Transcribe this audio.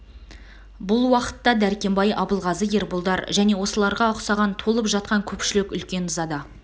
бұл уақытта дәркембай абылғазы ерболдар және осыларға ұқсаған толып жатқан көпшілік үлкен ызада